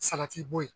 Salati bo yen